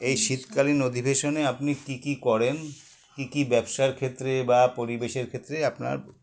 এই শীতকালীন অধিবেশনে আপনি কী কী করেন কী কী ব্যবসার ক্ষেত্রে বা পরিবেশের ক্ষেত্রে আপনার